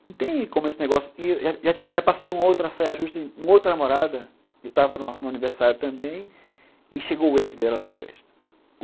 Não tem como esse negócio... Eu já passei uma outra saia justa, uma outra namorada, que estava no aniversário também, e chegou o ex dela lá na festa.